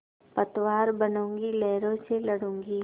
पतवार बनूँगी लहरों से लडूँगी